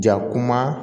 Ja kuma